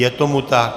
Je tomu tak.